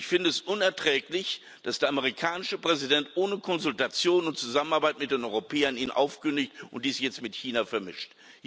Ich finde es unerträglich, dass der amerikanische Präsident ohne Konsultation und Zusammenarbeit mit den Europäern ihn aufkündigt und dies jetzt mit China vermischt.